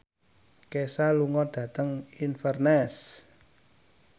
Kesha lunga dhateng Inverness